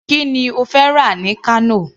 Kí ni ó fẹ́ rà ní Kano.